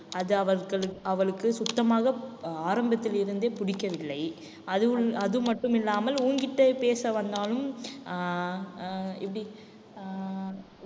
அது அவர்களு~ அவளுக்கு சுத்தமாக அஹ் ஆரம்பத்தில் இருந்தே பிடிக்கவில்லை. அது மட்டும் இல்லாமல் உன்கிட்ட பேச வந்தாலும் அஹ் அஹ் எப்படி ஆஹ்